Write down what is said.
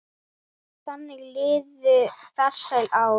Þannig liðu farsæl ár.